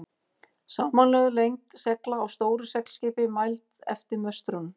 Samanlögð lengd segla á stóru seglskipi, mæld eftir möstrunum.